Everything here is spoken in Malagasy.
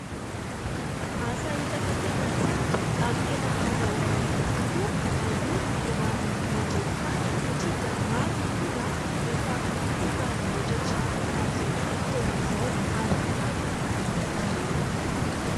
Asa hita fa tena tsara ary tena ahazahoana vola tokoa aloha raha ny mandrefy tany e ! satria dia maro ny olona efa tia manamboatra trano amin'izao vanim-potoana izao ary mitady an'izy ireny.